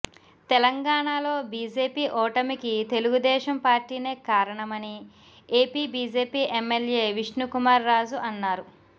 తెలంగాణలో బీజేపీ ఓటమికి తెలుగుదేశం పార్టీనే కారణమని AP BJP MLA Vishnukumar Raju అన్నారు